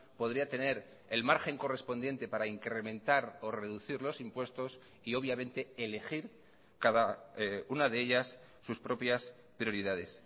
podría tener el margen correspondiente para incrementar o reducir los impuestos y obviamente elegir cada una de ellas sus propias prioridades